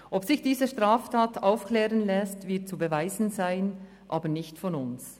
Ob sich diese Straftat aufklären lässt, wird zu beweisen sein, aber nicht von uns.